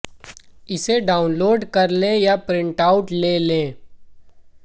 इसे डाउनलोड कर लें या प्रिट आउट ले लें